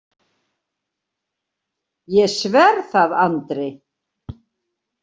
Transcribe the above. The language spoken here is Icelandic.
Ég sver það Andri.